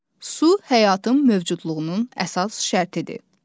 Su həyatın mövcudluğunun əsas şərtidir.